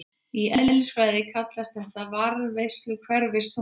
Í eðlisfræði kallast þetta varðveisla hverfiþunga.